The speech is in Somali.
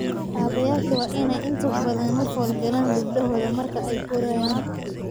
Aabayaashu waa inay inta badan la falgalaan gabdhahooda marka ay korayaan.